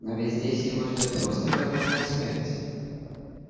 но ведь здесь его ждёт просто голодная смерть